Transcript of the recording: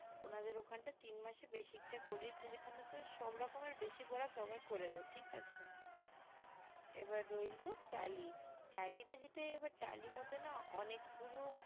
উনাদের ওখান টা তিন মাসেই basic টা টা সব রকমের basic ওরা করে cover দেয় ঠিক আছে এবার রইলো tally tally টা মধ্যে না অনেক গুলো